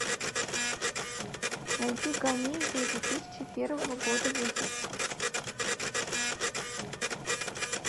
найди комедию две тысячи первого года выпуска